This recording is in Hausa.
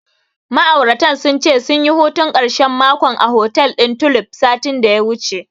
Ma'auratan sun ce, sunyi hutun ƙarshen makon a hotel ɗin Tulif, satin da ya wuce.